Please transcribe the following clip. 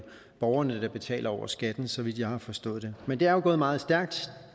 borgerne der betaler over skatten så vidt jeg har forstået det men det er jo gået meget stærkt